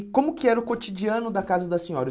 E como que era o cotidiano da casa da senhora?